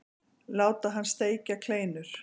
Láta hann steikja kleinur.